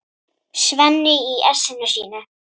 Svenni í essinu sínu.